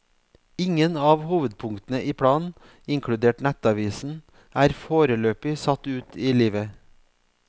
Ingen av hovedpunktene i planen, inkludert nettavisen, er foreløpig satt ut i livet.